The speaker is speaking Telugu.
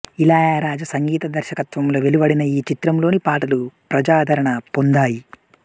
ఇళయరాజా సంగీత దర్శకత్వంలో వెలువడిన ఈ చిత్రంలోని పాటలు ప్రజాదరణ పొందాయి